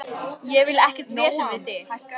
Ég vil ekkert vesen við þig.